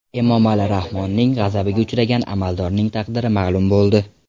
Emomali Rahmonning g‘azabiga uchragan amaldorning taqdiri ma’lum bo‘ldi.